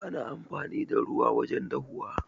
Ana amfani da ruwa wajen dahuwa.